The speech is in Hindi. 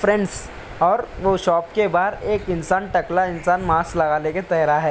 फ़्रेंड्स और वो शॉप के बाहर एक इंसान टकला इंसान मास्क लगाले के तेरा है।